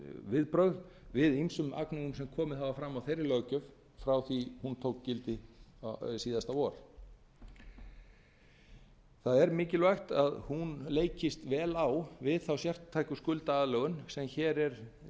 viðbrögð við ýmsum agnúum sem komið hafa fram á þeirri löggjöf frá því hún tók gildi síðasta vor það er mikilvægt að hún tekist vel á við þá sértæku skuldaaðlögun sem hér er